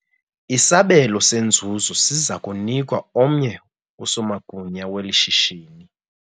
Isabelo senzuzo siza kunikwa omnye usomagunya weli shishini.